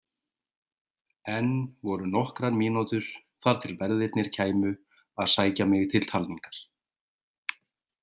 Enn voru nokkrar mínútur þar til verðirnir kæmu að sækja mig til talningar.